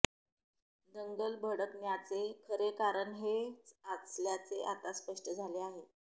दंगल भडकण्याचे खरे कारण हेच असल्याचे आता स्पष्ट झाले आहे